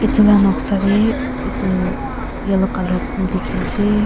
etu la noksa de etu yellow color phool dikhi ase.